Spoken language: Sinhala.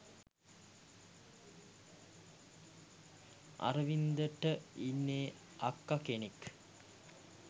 අරවින්ද ට ඉන්නේ අක්ක කෙනෙක්